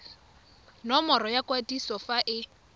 nomoro ya kwadiso fa e